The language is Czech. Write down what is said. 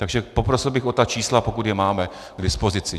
Takže poprosil bych o ta čísla, pokud je máme k dispozici.